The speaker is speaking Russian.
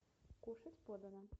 кушать подано